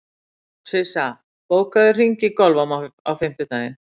Sissa, bókaðu hring í golf á fimmtudaginn.